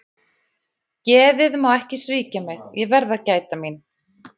Geðið má ekki svíkja mig, ég verð að gæta mín.